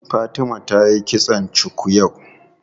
Fatima tayi kitson cuku yau.